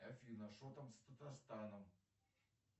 афина что там с татарстаном